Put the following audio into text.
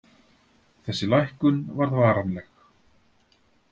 Þessi lækkun varð varanleg.